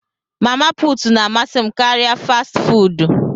Mama put na amasị m karịa fastị fụụdụ.